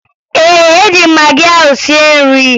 Ee, eji m magị ahụ sie nri